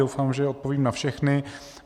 Doufám, že odpovím na všechny.